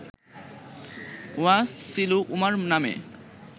Wasilu Umar নামে